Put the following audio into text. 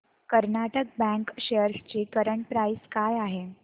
Karnataka bank shares ची current price काय आहे